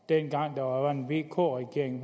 dengang der var en vk regering